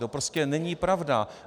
To prostě není pravda!